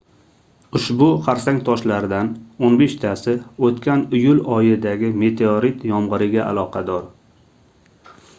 ushbu xarsang toshlardan oʻn beshtasi oʻtgan iyul oyidagi meteorit yomgʻiriga aloqador